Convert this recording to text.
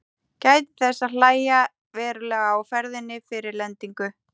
Gætið þess að hægja verulega á ferðinni fyrir lendingu.